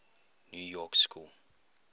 new york school